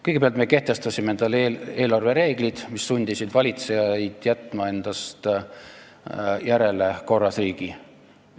Kõigepealt me kehtestasime endale eelarvereeglid, mis sundisid valitsejaid jätma endast maha korras riigi.